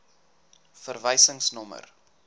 verwysingsnommer